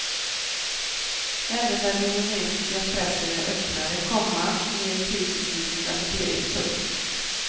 Även den indonesiska pressen är öppnare, komma mer kritisk i sin rapportering. punkt